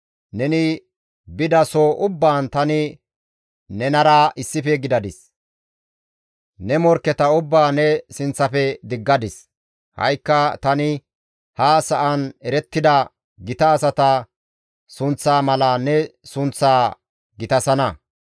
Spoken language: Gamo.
Neni bida soho ubbaan tani nenara issife gidadis; ne morkketa ubbaa ne sinththafe diggadis; ha7ikka tani ha sa7an erettida gita asata sunththaa mala ne sunththaa gitasana.